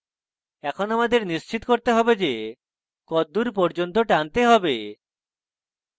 এখন আমাকে নিশ্চিত করতে have যে কদ্দুর পর্যন্ত টানতে have